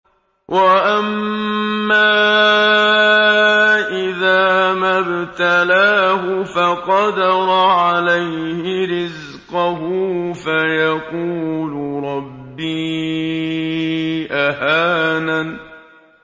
وَأَمَّا إِذَا مَا ابْتَلَاهُ فَقَدَرَ عَلَيْهِ رِزْقَهُ فَيَقُولُ رَبِّي أَهَانَنِ